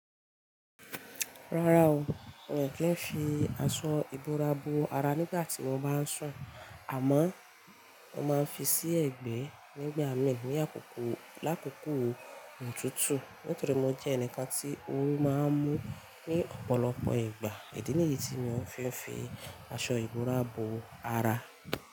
Rárá o, mi o kì í n fi aṣọ ìbora bo ara nígbà tí mo bá ń sùn, àmọ́ mo máa ń fi sí ẹ̀gbẹ́ nígbà mí ní àkókò lákòókò òtútù. Nítorí mo jẹ́ ẹnìkan tí oru máa ń mú ní ọ̀pọ̀lọpọ̀ ìgbà. Idi niyi tí mo fi n fi aṣọ ìbora bo ara.